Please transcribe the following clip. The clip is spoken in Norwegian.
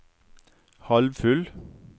halvfull